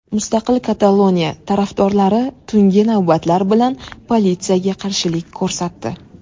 Mustaqil Kataloniya tarafdorlari tungi navbatlar bilan politsiyaga qarshilik ko‘rsatdi.